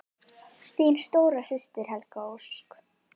Þín stóra systir, Helga Ósk.